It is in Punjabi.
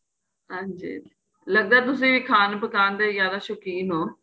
ਹਾਂਜੀ ਹਾਂਜੀ ਲੱਗਦਾ ਏ ਤੁਸੀਂ ਖਾਣ ਪਕਾਂਣ ਦੇ ਜਿਆਦਾ ਸੋਕੀਨ ਹੋ